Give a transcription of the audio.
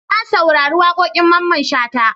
Na saurari waƙoƙin Mamman Shata.